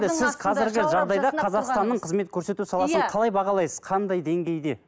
сіз қазіргі жағдайда қазақстанның қызмет көрсету саласын қалай бағалайсыз қандай деңгейде